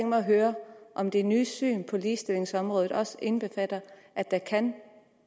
mig at høre om det nye syn på ligestillingsområdet også indbefatter at der kan